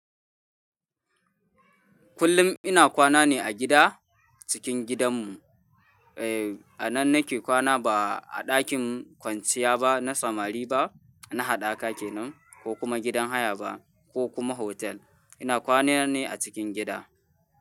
Kullum ina kwana ne a gida, cikin gidanmu. Eh, a nan nake kwana ba a ɗakin kwanciya ba na samari ba na haɗaka kenan, ko kuma gidan haya ba ko kuma hotel. Ina kwana ne a cikin gida.